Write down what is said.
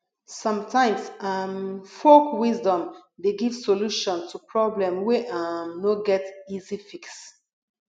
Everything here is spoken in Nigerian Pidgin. somtimes um folk wisdom dey give solution to problem wey um no get easy fix